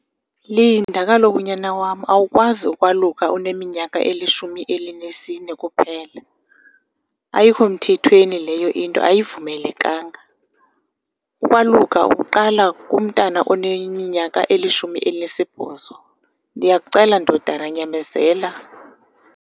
Linda kaloku nyana wam, awukwazi ukwaluka uneminyaka elishumi elinesine kuphela. Ayikho mthethweni leyo into, ayivumelekanga. Ukwaluka uqala kumntana oneminyaka elishumi elinesibhozo. Ndiyakucela ndodana, nyamezela.